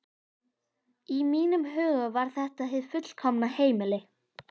Í mínum huga var þetta hið fullkomna heimili.